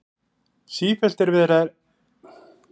Sífellt er verið að reka hana út úr kirkjum vegna síðbuxnanna.